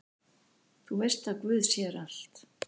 Þú veist að guð sér allt!